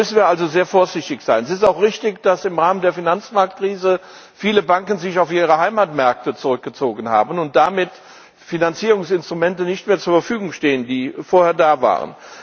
Da müssen wir also sehr vorsichtig sein. Es ist auch richtig, dass sich im Rahmen der Finanzmarktkrise viele Banken auf ihre Heimatmärkte zurückgezogen haben und damit Finanzierungsinstrumente nicht mehr zur Verfügung stehen, die vorher da waren.